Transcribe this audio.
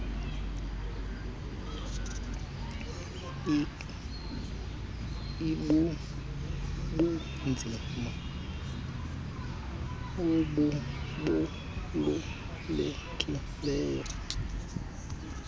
ik ibubunzima obubalulekileyo